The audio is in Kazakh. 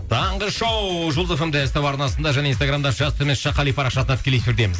таңғы шоу жұлдыз эф эм де ств арнасында және инстаграмда жас төмен сызықша қали парақшасында тікелей эфирдеміз